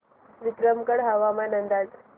विक्रमगड हवामान अंदाज